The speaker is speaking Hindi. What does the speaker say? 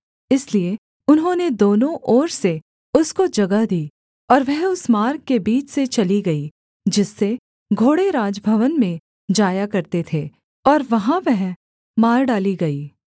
इसलिए उन्होंने दोनों ओर से उसको जगह दी और वह उस मार्ग के बीच से चली गई जिससे घोड़े राजभवन में जाया करते थे और वहाँ वह मार डाली गई